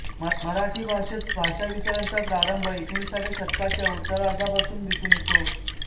मराठी भाषेत भाषाविचाराचा प्रारंभ एकोणिसाव्या शतकाच्या उत्तरार्धापासून दिसून येतो